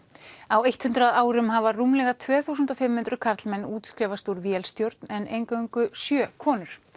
á eitt hundrað árum hafa rúmlega tvö þúsund og fimm hundruð karlmenn útskrifast úr vélstjórn en eingöngu sjö konur